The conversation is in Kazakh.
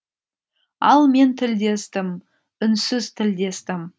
ал мен тілдестім үнсіз тілдестім